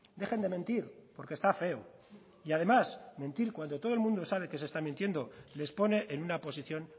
dejen de mentir porque está feo y además mentir cuando todo el mundo sabe que se está mintiendo les pone en una posición